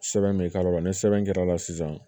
Sɛbɛn bɛ k'a la ni sɛbɛn kɛra sisan